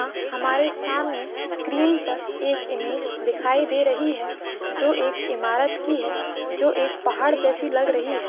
यहाँ हमारे स्क्रीन पर एक इमेज दिखाई दे रही है जो एक इमारत की है जो एक पहाड़ जैसी लग रही है।